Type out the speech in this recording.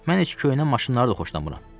Mən heç köhnə maşınları da xoşlamıram.